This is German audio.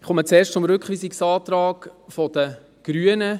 Ich komme zuerst zum Rückweisungsantrag der Grünen: